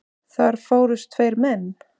Þar fórust tveir menn.